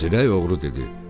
Zirək oğru dedi: